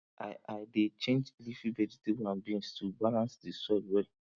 i i dey change leafy vegetable and beans to balance the soil well